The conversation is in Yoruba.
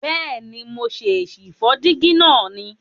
Bèéni, mo ṣè sì fó dígí náà ni